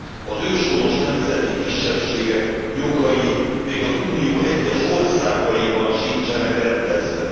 Az őshonos nemzeti kisebbségek jogai még az Unió egyes országaiban sincsenek rendezve.